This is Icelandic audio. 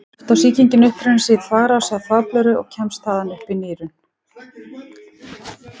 Oftast á sýkingin uppruna sinn í þvagrás eða þvagblöðru og kemst þaðan upp í nýrun.